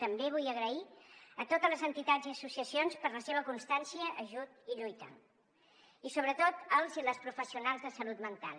també vull donar les gràcies a totes les entitats i associacions per la seva constància ajut i lluita i sobretot als i les professionals de salut mental